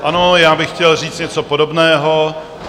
Ano, já bych chtěl říct něco podobného.